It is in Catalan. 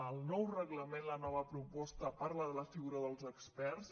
el nou reglament la nova proposta parla de la figura dels experts